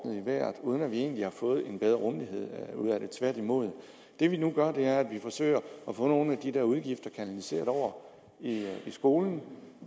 i vejret uden at vi egentlig har fået en bedre rummelighed ud af det tværtimod det vi nu gør er at vi forsøger at få nogle af de der udgifter kanaliseret over i skolen